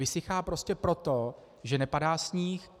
Vysychá prostě proto, že nepadá sníh.